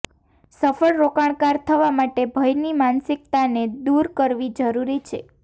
સફળ રોકાણકાર થવા માટે ભયની માનસિકતાને દૂર કરવી જરૂરી છે